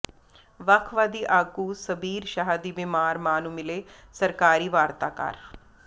ਵਖਵਾਦੀ ਆਗੂ ਸ਼ਬੀਰ ਸ਼ਾਹ ਦੀ ਬਿਮਾਰ ਮਾਂ ਨੂੰ ਮਿਲੇ ਸਰਕਾਰੀ ਵਾਰਤਾਕਾਰ